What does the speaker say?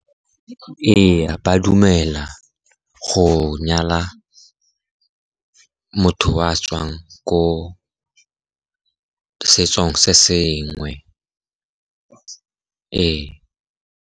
Ee, ba dumela go nyala motho o a tswang ko setsong se sengwe, ee.